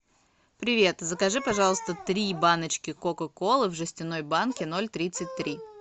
привет закажи пожалуйста три баночки кока колы в жестяной банке ноль тридцать три